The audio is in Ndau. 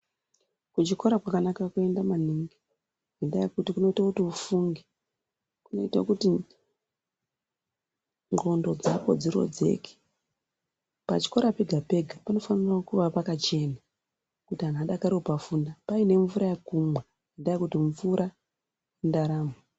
Kuchikora kwakanaka kuenda maningi nendaa yekuti kunoito kuti ufunge, kunoito kuti ndxondo dzako dzirodzeke. Pachikora pega pega panofanira kuva pakachena kuti vantu vadakarire kupafunda paine mvura yekumwaa nendaa yekuti mvuraa indaramo.